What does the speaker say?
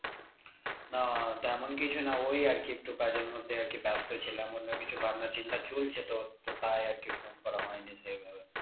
না তেমন কিছু না ওই আরকি একটু কাজের মধ্যে আরকি ব্যাস্ত ছিলাম অন্য কিছু ভাবনা চিন্তা চলছে তোর তো তাই আরকি phone করা হয়নি সেভাবে।